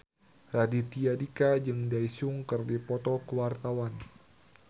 Raditya Dika jeung Daesung keur dipoto ku wartawan